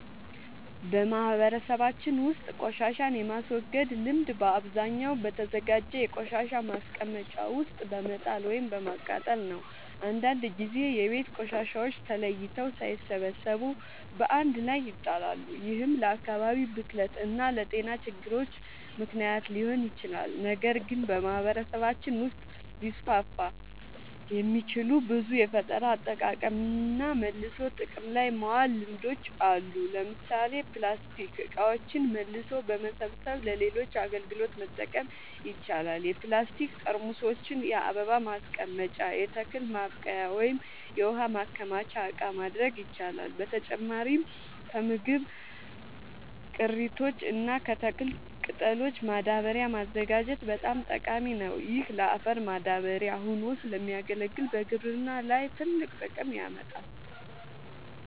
በማህበረሰባችን ውስጥ ቆሻሻን የማስወገድ ልምድ በአብዛኛው በተዘጋጀ የቆሻሻ ማስቀመጫ ውስጥ በመጣል ወይም በማቃጠል ነው። አንዳንድ ጊዜ የቤት ቆሻሻዎች ተለይተው ሳይሰበሰቡ በአንድ ላይ ይጣላሉ፤ ይህም ለአካባቢ ብክለት እና ለጤና ችግሮች ምክንያት ሊሆን ይችላል። ነገር ግን በማህበረሰባችን ውስጥ ሊስፋፉ የሚችሉ ብዙ የፈጠራ አጠቃቀምና መልሶ ጥቅም ላይ ማዋል ልምዶች አሉ። ለምሳሌ ፕላስቲክ እቃዎችን መልሶ በመሰብሰብ ለሌሎች አገልግሎቶች መጠቀም ይቻላል። የፕላስቲክ ጠርሙሶችን የአበባ ማስቀመጫ፣ የተክል ማብቀያ ወይም የውሃ ማከማቻ እቃ ማድረግ ይቻላል። በተጨማሪም ከምግብ ቅሪቶች እና ከተክል ቅጠሎች ማዳበሪያ ማዘጋጀት በጣም ጠቃሚ ነው። ይህ ለአፈር ማዳበሪያ ሆኖ ስለሚያገለግል በግብርና ላይ ትልቅ ጥቅም ያመጣል።